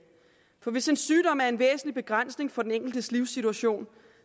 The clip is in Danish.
for hvis en sygdom er en væsentlig begrænsning for den enkeltes livssituation